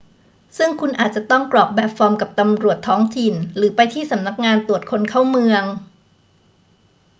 ซึ่งคุณอาจจะต้องกรอกแบบฟอร์มกับตำรวจท้องถิ่นหรือไปที่สำนักงานตรวจคนเข้าเมือง